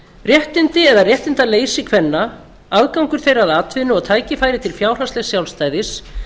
réttindi eða réttindaleysi kvenna aðgangur þeirra að atvinnu og tækifæri til fjárhagslegs sjálfstæðis